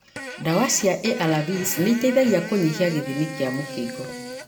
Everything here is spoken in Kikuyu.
Dawa cia ARVs nĩciteithagia kũnyihia gĩthimi kĩa mũkingo.